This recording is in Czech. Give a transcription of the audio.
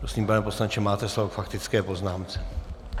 Prosím, pane poslanče, máte slovo k faktické poznámce.